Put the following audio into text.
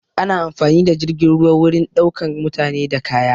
Ana amfani da jirgin ruwa wurin ɗaukan mutane da kaya